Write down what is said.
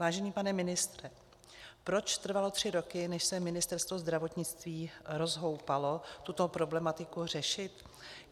Vážený pane ministře, proč trvalo tři roky, než se Ministerstvo zdravotnictví rozhoupalo tuto problematiku řešit?